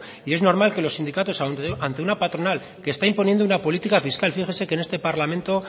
y es normal que los sindicatos ante una patronal que está imponiendo una política fiscal fíjese que en este parlamento